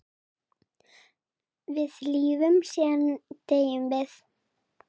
Við lifum, síðan deyjum við.